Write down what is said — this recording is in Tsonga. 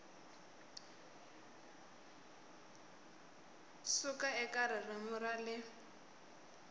suka eka ririmi ra le